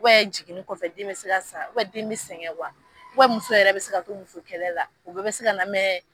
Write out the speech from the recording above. jiginni kɔfɛ den be se ka sa, den be sɛngɛ . muso yɛrɛ be se ka to muso kɛlɛ la O bɛɛ be se ka na